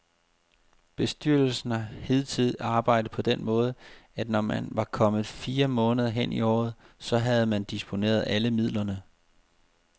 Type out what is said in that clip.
Bestyrelsen har hidtil arbejdet på den måde, at når man var kommet fire måneder hen i året, så havde man disponeret alle midlerne.